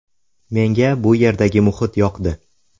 Menga bu yerdagi muhit yoqdi.